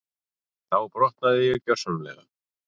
Þá brotnaði ég gjörsamlega.